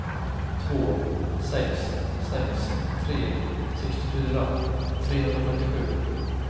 två sex sex tre sextiofyra trehundrafemtiosju